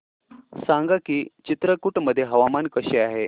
सांगा की चित्रकूट मध्ये हवामान कसे आहे